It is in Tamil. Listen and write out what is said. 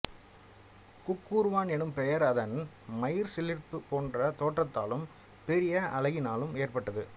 குக்குறுவான் எனும் பெயர் அதன் மயிர்சிலிர்ப்பு போன்ற தோற்றத்தாலும் பெரிய அலகினாலும் ஏற்பட்டது